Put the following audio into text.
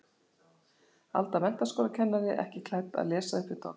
Alda menntaskólakennari ekki klædd að lesa uppvið dogg.